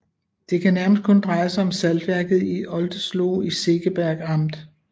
Det kan nærmest kun dreje sig om saltværket i Oldesloe i Segeberg amt